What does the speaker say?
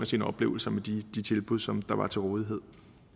sine oplevelser med de tilbud som der var til rådighed